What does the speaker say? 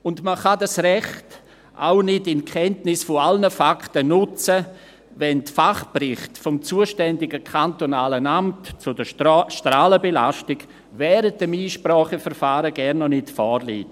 Und man kann dieses Recht auch nicht in Kenntnis aller Fakten nutzen, wenn die Fachberichte des zuständigen kantonalen Amts zur Strahlenbelastung während des Einspracheverfahrens gar noch nicht vorliegen.